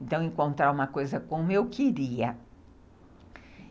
Então, encontrar uma coisa como eu queria.